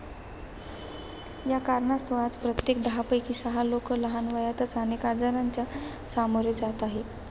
या कारणास्तव प्रत्येक दहापैकी सहा लोकं लहान वयातच अनेक आजारांच्या सामोरे जात आहेत.